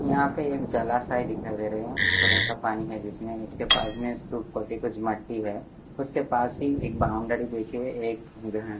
यहां पे एक जलाशय दिखाई दे रहे हैं थोड़ा सा पानी है जिसमें इसके पास में इसके ऊपर भी कुछ मट्टी है उसके पास ही एक बाउंड्री देखिए एक यह--